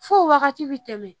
Fo wagati bi tɛmɛ